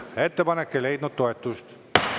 Ettepanek ei leidnud toetust.